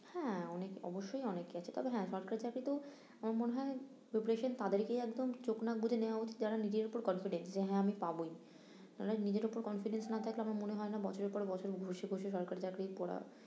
হ্যাঁ অনেক~ অবশ্যই অনেকে আছে তবে হ্যাঁ সরকারি চাকরিতেও আমার মনে হয় preparation তাদেরকেই একদম চোখ নাক বুজিয়ে নেয়া উচিত যারা নিজের উপর confident যে হ্যাঁ আমি পাবোই নাহলে নিজের উপর confident না থাকলে আমার মনে হয় না বছরের পর বছর ঘষে ঘষে সরকারি চাকরি পড়া